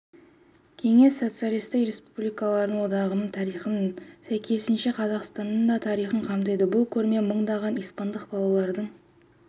кеңес социалистік республикалар одағының тарихын сәйкесінше қазақстанның да тарихын қамтиды бұл көрме мыңдаған испандық балалардың